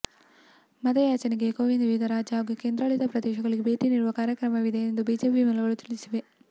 ಮತ ಯಾಚನೆಗಾಗಿ ಕೋವಿಂದ್ ವಿವಿಧ ರಾಜ್ಯ ಹಾಗೂ ಕೇಂದ್ರಾಡಳಿತ ಪ್ರದೇಶಗಳಿಗೆ ಭೇಟಿ ನೀಡುವ ಕಾರ್ಯಕ್ರಮವಿದೆ ಎಂದು ಬಿಜೆಪಿ ಮೂಲಗಳು ತಿಳಿಸಿವೆ